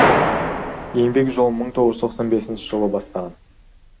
еңбек жолын мың тоғыз жүз тоқсан бесінші жылы бастаған